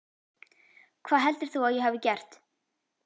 Hvað heldur þú að ég hafi gert?